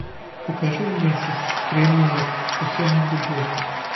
покажи ленту ренуар последняя любовь